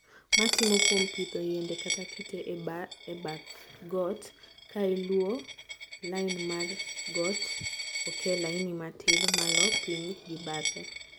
Maitimo kuom pidho yiende kata kite e bath got, kailuo lini mar got oke laini matirr malo piny gi bathe.